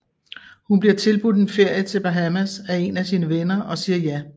Hun bliver tilbudt en ferie til Bahamas af en af sine venner og siger ja